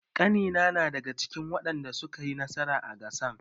Ƙanina na daga cikin wadanda suka yi nasara a gasan.